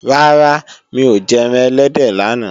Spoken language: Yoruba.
Rárá, mi ò jẹran ẹlẹ́dẹ̀ lánàá